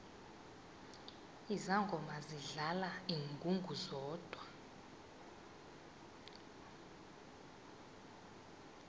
izangoma zidlala ingungu zodwa